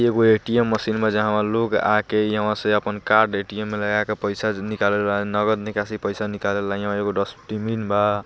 एगो ATM machine बा जेमे लोग आके यहाँ से अपन कार्ड ए_टी_एम मे लगाकर पैसा निकाल ले ला नगद निकाशी पैसा निकाल ले ला यहाँ एगो डस्ट्बिन बा--